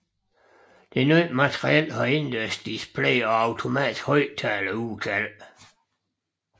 Det nye materiel har indendørsdisplays og automatiske højtalerudkald